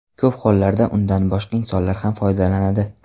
Ko‘p hollarda undan boshqa insonlar ham foydalanadi.